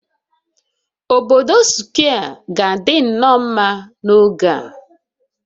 Obodo Square ga-adị nnọọ mma n'oge a